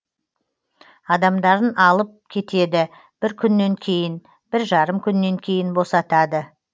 адамдарын алып кетеді бір күннен кейін бір жарым күннен кейін босатады